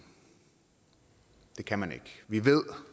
det kan man ikke vi ved